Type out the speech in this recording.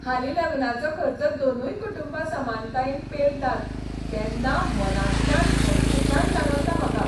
हालीं लग्नाचो खर्च दोनूय कुटुंबां समानतायेन पेलतात तेन्ना मनांतल्यान थंडसाण जाणवता म्हाका.